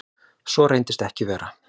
Svo reyndist ekki vera